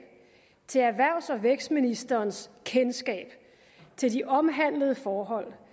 til erhvervs og vækstministerens kendskab til de omhandlede forhold